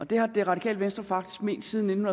det har det radikale venstre faktisk ment siden nitten